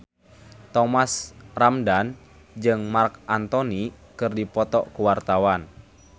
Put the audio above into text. Thomas Ramdhan jeung Marc Anthony keur dipoto ku wartawan